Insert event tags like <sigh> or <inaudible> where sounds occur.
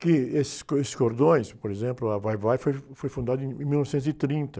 Que esses co, esses cordões, por exemplo, a Vai-Vai foi, <unintelligible> foi fundada em, <unintelligible> em mil novecentos e trinta.